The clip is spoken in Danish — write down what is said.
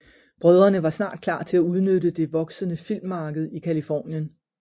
Brødrene var snart klar til at udnytte det voksende filmmarked i Californien